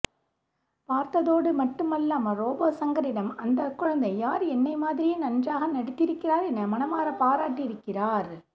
பார்த்ததோடு மட்டுமல்லாமல் ரோபோ சங்கரிடம் அந்த குழந்தை யார் என்னை மாதிரியே நன்றாக நடித்திருக்கிறார் என மனமாற பாரட்டி இருக்கிறார்